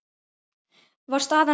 Var staðan rædd?